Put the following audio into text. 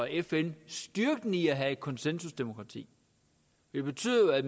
fn styrken i at have et konsensusdemokrati det betyder jo at